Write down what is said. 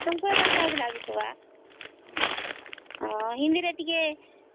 ଭରା ସହଜ ଲାଗି ଥିବା ହିନ୍ଦୀ ରେ ଟିକେ